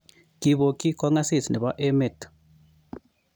Kipokyi kong'asis nepo emeet